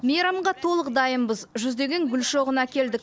мейрамға толық дайынбыз жүздеген гүл шоғын әкелдік